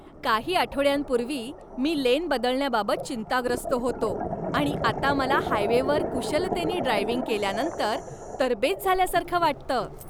काही आठवड्यांपूर्वी मी लेन बदलण्याबाबत चिंताग्रस्त होतो, आणि आता मला हायवेवर कुशलतेनी ड्रायव्हिंग केल्यानंतर तरबेज झाल्यासारखं वाटतं!